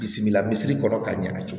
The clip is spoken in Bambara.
Bilisi bila misiri kɔnɔ ka ɲɛ